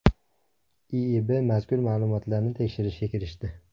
IIBB mazkur ma’lumotlarni tekshirishga kirishdi.